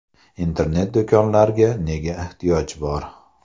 Internet-do‘konlarga nega ehtiyoj bor?